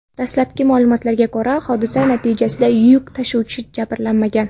Dastlabki ma’lumotlarga ko‘ra, hodisa natijasida yuk tashuvchi jabrlanmagan.